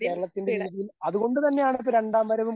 കേരളത്തിന്റെ രീതിയിൽ അതുകൊണ്ട് തന്നെയാണ് അത് രണ്ടാം വരവും.